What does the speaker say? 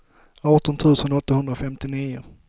arton tusen åttahundrafemtionio